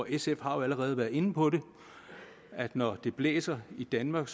sf har jo allerede været inde på at når det blæser i danmark